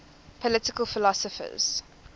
political philosophers